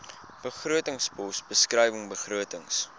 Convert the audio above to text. begrotingspos beskrywing begrotings